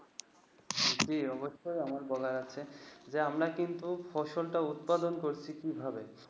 জি অবশই আমার বলার আছে যে আমরা কিন্তু ফসল টা উৎপাদন করছি কিভাবে